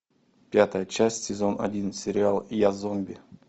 пятая часть сезон один сериал я зомби